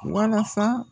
Walasa